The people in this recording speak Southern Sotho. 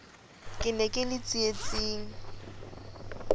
ke ne ke le tsietsing